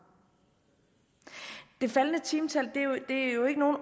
det faldende timetal er jo ikke nogen